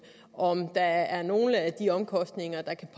og om der er nogle af de omkostninger der kan